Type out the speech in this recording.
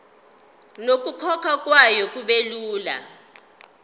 nokukhokhwa kwayo kubelula